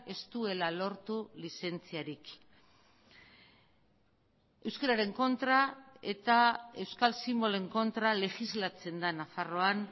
ez duela lortu lizentziarik euskararen kontra eta euskal sinboloen kontra legislatzen da nafarroan